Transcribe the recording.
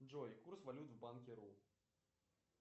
джой курс валют в банке ру